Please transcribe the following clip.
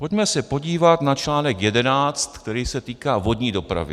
Pojďme se podívat na článek 11, který se týká vodní dopravy.